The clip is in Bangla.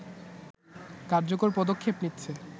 কার্যকর পদক্ষেপ নিচ্ছে